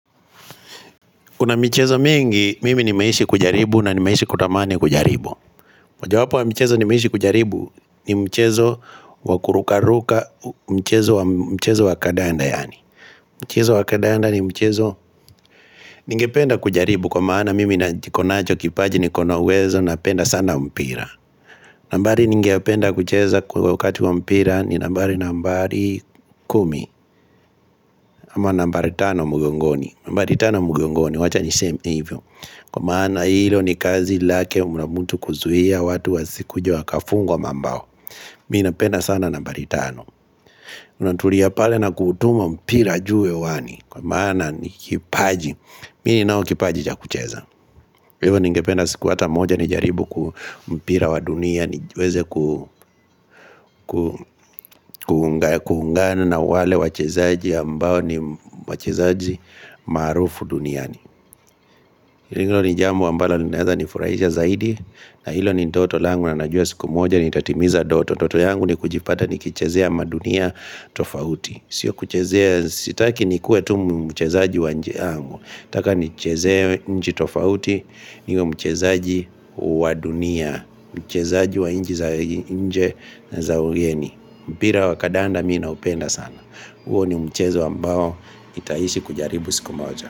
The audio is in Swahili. Kuna mchezo mingi, mimi ni maishi kujaribu na ni maishi kutamane kujaribu Wajawapo wa mchezo ni maishi kujaribu ni mchezo wakurukaruka mchezo wakadanda yani mchezo wakadanda ni mchezo ningependa kujaribu kwa maana mimi na jikonacho kipaji ni kona uwezo na penda sana mpira nambari ningependa kucheza kwa wakati wa mpira ni nambari nambari kumi ama nambari tano mugongoni nambari tano mugongoni wacha ni same evil Kwa maana hilo ni kazi lake unamutu kuzuhia watu wa sikujiwa kafungwa mambao Miina pena sana nabari tano unatulia pale na kutuma mpira jiwe wani Kwa maana ni kipaji Mini nao kipaji ja kucheza hilo ningependa siku hata moja ni jaribu kumpira wa dunia nijueze kuhungana na wale wachezaji ambao ni wachezaji marufu duniani Hilo ni jamu ambala ninaeza nifurahisha zaidi na hilo ni ntoto langu na najua siku moja ni tatimiza ndoto toto yangu ni kujipata ni kichezea madunia tofauti sio kichezea sitaki ni kuwe tu mchezeaji wa nje yangu taka ni chezea nji tofauti ni mchezeaji wa dunia Mchezeaji wa nji za nje za ujeni mpira wa kadanda mina upenda sana uo ni mcheze wa mbao itaisi kujaribu siku moja.